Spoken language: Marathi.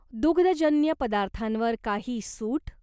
दुग्धजन्य पदार्थांवर काही सूट?